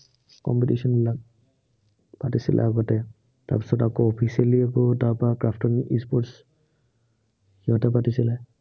compitition বিলাক পাতিছিলে আগতে। তাৰপিছত আকৌ officially এইবোৰ, তাৰপৰা custom sports সিহঁতে পাতিছিলে